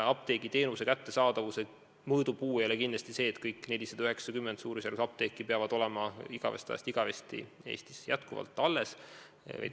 Apteegiteenuse kättesaadavuse mõõdupuu ei ole kindlasti see, et kõik 490 apteeki peavad olema igavesest ajast igavesti Eestis alles.